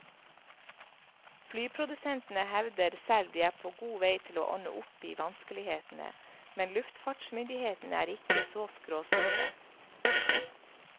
Flyprodusentene hevder selv de er på god vei til å ordne opp i vanskelighetene, men luftfartsmyndighetene er ikke så skråsikre.